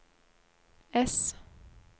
S